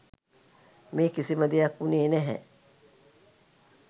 මේ කිසිම දෙයක් වුණේ නැහැ.